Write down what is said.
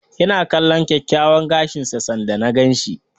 Ya na kalllon kyakkyawan gashin sa sanda na gan shi.